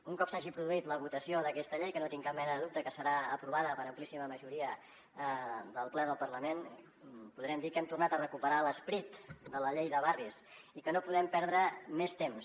un cop s’hagi produït la votació d’aquesta llei que no tinc cap mena de dubte que serà aprovada per amplíssima majoria del ple del parlament podrem dir que hem tornat a recuperar l’esperit de la llei de barris i que no podem perdre més temps